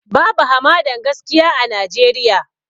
Babu hamadan gaskiya a Najeriya